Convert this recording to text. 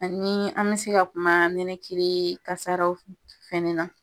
Ani an ka se ka kuma nibakili kasaraw fɛna na.